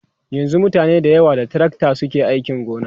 yanzun mutane da yawa da tracta suke ainki gona